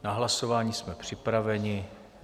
Na hlasování jsme připraveni.